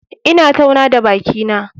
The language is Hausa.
Ina tauna da bakina.